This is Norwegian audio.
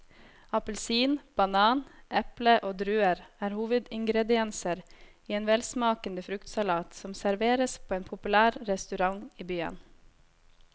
Appelsin, banan, eple og druer er hovedingredienser i en velsmakende fruktsalat som serveres på en populær restaurant i byen.